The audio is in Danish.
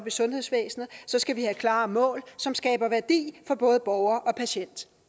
i sundhedsvæsenet skal vi have klare mål som skaber værdi for både borger og patient